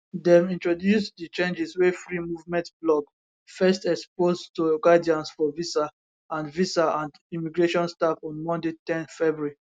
dem introduce di changes wey free movement blog first expose to guidance for visa and visa and immigration staff on monday ten february